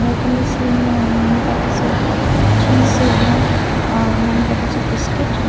there can be seen many packets of Chings schezwan uh many packets of biscuit.